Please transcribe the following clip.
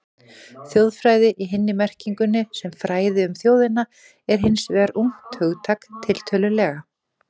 Þjóðfræði í hinni merkingunni, sem fræði um þjóðina, er hins vegar ungt hugtak, tiltölulega.